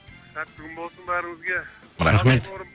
сәтті күн болсын бәріңізге рахмет батыр бауырым